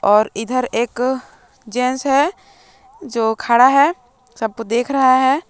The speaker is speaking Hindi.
और इधर एक जेंट्स है जो खड़ा है सबको देख रहा है।